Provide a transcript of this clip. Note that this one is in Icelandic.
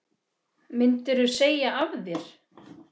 Myndirðu segja af þér?